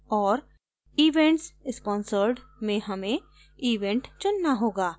और events sponsored में हमें event चुनना होगा